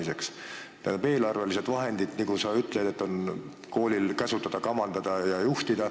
Nagu sa ütled, eelarvelised vahendid on kooli käsutada, kamandada ja juhtida.